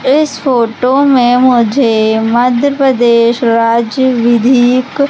इस फोटो में मुझे मध्य प्रदेश राज्य विधिक--